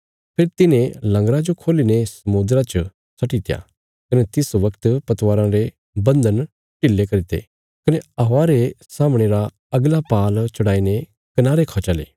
फेरी तिन्हें लंगरा जो खोली ने समुद्रा च छड्डीत्या कने तिस बगत पतवाराँ रे बन्धन ढीले करी ते कने हवा रे सामणे रा अगला पाल चढ़ाईने कनारे खा चले